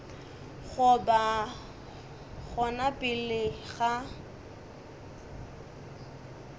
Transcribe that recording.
go ba gona pele ga